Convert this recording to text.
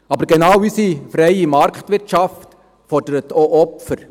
Aber genau diese freie Marktwirtschaft fordert auch Opfer.